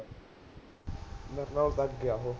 ਮੇਰੇ ਨਾਲੋਂ ਤਾਂ ਅੱਗੇ ਹੈ ਉਹ